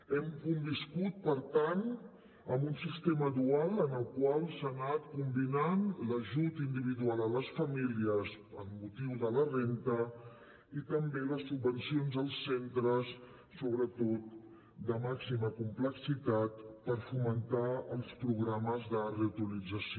hem conviscut per tant amb un sistema dual en el qual s’han anat combinant l’ajut individual a les famílies amb motiu de la renda i també les subvencions als centres sobretot de màxima complexitat per fomentar els programes de reutilització